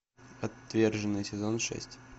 отверженные сезон шесть